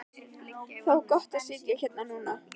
Það var gott að sitja hérna núna.